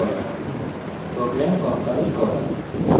সহজ java program তৈরি করা